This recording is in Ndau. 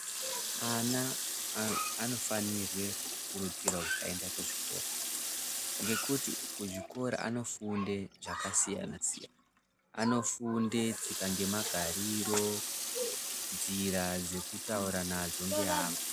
Ana anofanirwe kukurudzirwa kuti aende kuzvikora, ngekuti kuzvikora anofunde zvakasiyana-siyana. Anofunde tsika ngemagariro, tsika dzekutaura nadzo ngeamwe.